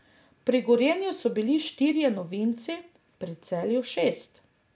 Pri Gorenju so bili štirje novinci, pri Celju šest.